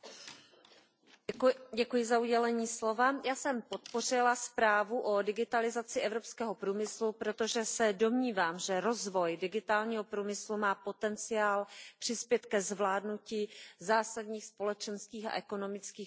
Paní předsedající, já jsem podpořila zprávu o digitalizaci evropského průmyslu, protože se domnívám, že rozvoj digitálního průmyslu má potenciál přispět ke zvládnutí zásadních společenských a ekonomických problémů Evropy.